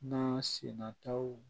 Na sin nataw